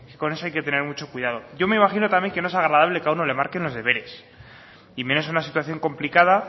que con eso hay que tener mucho cuidado yo me imagino también que no es agradable que a uno le marquen los deberes y menos en una situación complicada